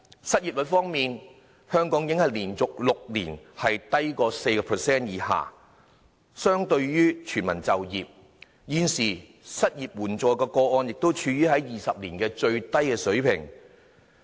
失業率方面，香港已經連續6年低於 4%， 相當於全民就業，失業綜援個案現時正處於20年來的最低水平。